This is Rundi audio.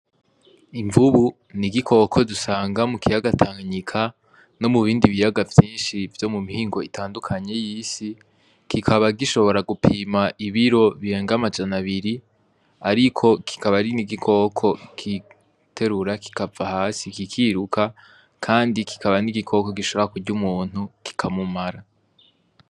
Imvubu ni igikoko dusanga mu kiyagatangika no mu bindi biyaga vyinshi vyo mu mihingo itandukanye y'isi, kikaba gishobora gupima ibiro birenga amajana abiri, ariko kikaba ari ni igikoko kiterura kikava hasi ikikiruka, kandi kikaba n'igikoko giobra a kurya umuntu kikamumara.